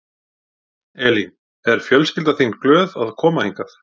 Elín: Er fjölskyldan þín glöð að koma hingað?